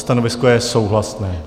Stanovisko je souhlasné.